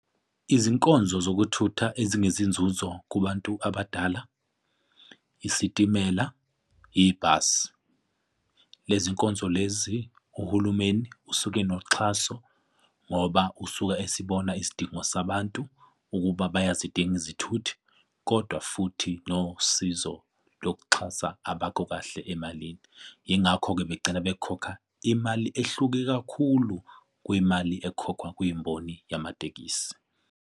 Izinkonzo zokuthutha ezinezinzuzo kubantu abadala, isitimela, yibhasi. Lezi nkonzo lezi Uhulumeni usuke enoxhaso ngoba usuke esibona isidingo sabantu ukuba bayazidinga izithuthi, kodwa futhi nosizo lokuxhasa abakho kahle emalini. Yingakho-ke begcina bekhokha imali ehluke kakhulu kwimali ekhokhwa kwimboni yamatekisi.